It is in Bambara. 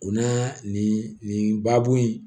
U na nin nin baabun in